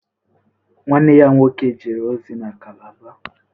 Nwanne ya nwoke jere ozi na Calabar?